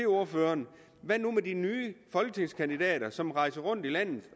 ordføreren hvad nu med de nye folketingskandidater som rejser rundt i landet